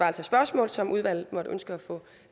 af spørgsmål som udvalget måtte ønske at få